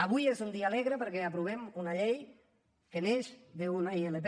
avui és un dia alegre perquè aprovem una llei que neix d’una ilp